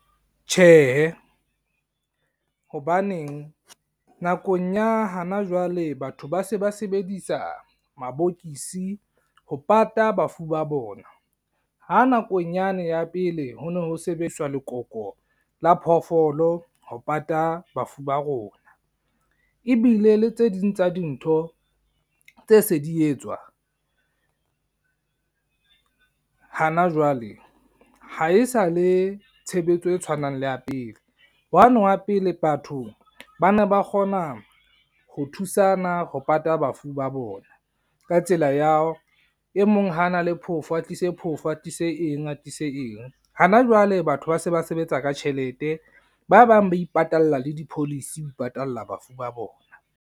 Tjhehe, hobaneng nakong ya hana jwale batho ba se ba sebedisa mabokokisi ho pata bafu ba bona. Ho nakong yane ya pele ho no ho sebediswa lekoko la phoofolo ho pata bafu ba rona. Ebile le tse ding tsa dintho tse se di etswa hana jwale ha e sa le tshebetso e tshwanang le ya pele. Hwane wa pele bathong ba ne ba kgona ho thusana ho pata bafu ba bona. Ka tsela ya ha e mong ho na le phofo, a tlise phofo, a tlise eng, a tlise eng. Hana jwale batho ba se ba sebetsa ka tjhelete. Ba bang ba ipatalla le di-policy ho ipatalla bafu ba bona.